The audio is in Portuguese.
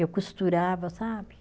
Eu costurava, sabe?